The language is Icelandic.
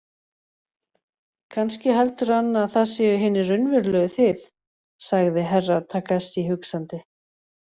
Kannski heldur hann að það séu hinir raunverulegu þið, sagði Herra Takashi hugsandi.